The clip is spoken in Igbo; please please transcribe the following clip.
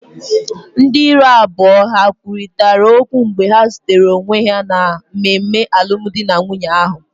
Ndị iro abụọ ha kwurịta okwu mgbe ha zutere onwe ha na mmemme alụmdi na nwunye ahụ?